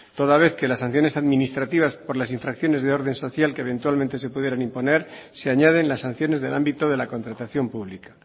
toda vez que las sanciones administrativas por las infracciones de orden social que eventualmente se pudieran imponer se añaden las sanciones del ámbito de la contratación pública